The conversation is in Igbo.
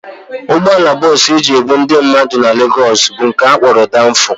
Ụgbọala bọs e ji ebu ndị mmadụ na Legos bụ nke a kpọrọ Danfo